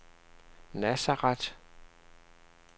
Nazareth